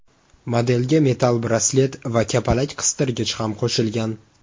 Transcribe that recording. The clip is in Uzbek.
Modelga metall braslet va kapalak-qistirgich ham qo‘shilgan.